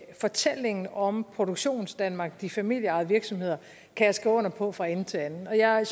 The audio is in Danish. fortællingen om produktionsdanmark og de familieejede virksomheder kan jeg skrive under på fra ende til anden og jeg